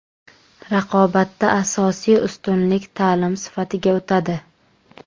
Raqobatda asosiy ustunlik ta’lim sifatiga o‘tadi.